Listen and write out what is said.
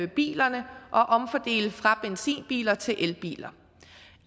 bilerne og omfordele fra benzinbiler til elbiler